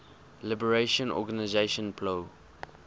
liberation organization plo